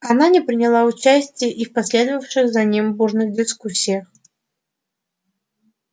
она не приняла участия и в последовавших за ним бурных дискуссиях